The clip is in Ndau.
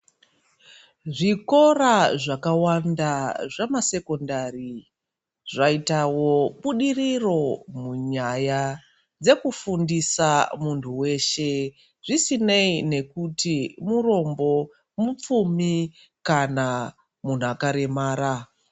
Zvikora zvakawanda zvamasekondari ,zvaitawo budiriro munyaya dzekufundisa muntu weshe ,zvisineii nekuti murombo, mupfumi kana munhu akaremara.